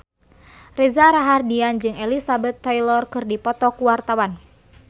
Reza Rahardian jeung Elizabeth Taylor keur dipoto ku wartawan